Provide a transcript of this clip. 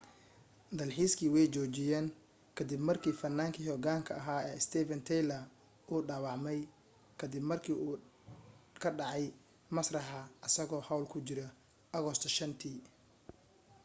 dalxiiskii way joojiyeen ka dib markii fannaankii hogaanka ahaa ee steven tyler uu dhaawacmay ka dib markuu ka dhacay masraxa isagoo hawl ku jira agoosto 5teea